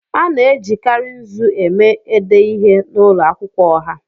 A na-ejikarị nzu eme ede ihe n'ụlọ akwụkwọ ọha.